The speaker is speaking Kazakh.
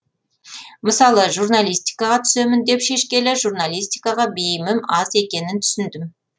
мысалы журналистикаға түсемін деп шешкелі журналистикаға бейімім аз екенін түсіндім